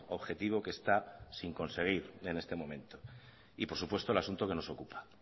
objetivo que está sin conseguir en este momento y por supuesto el asunto que nos ocupa